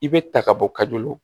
I bɛ ta ka bɔ ka joli